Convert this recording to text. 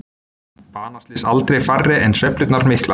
Banaslys aldrei færri en sveiflurnar miklar